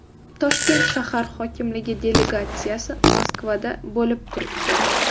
Toshkent shahar hokimligi delegatsiyasi Moskvada bo‘lib turibdi.